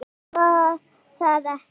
Ást var það ekki.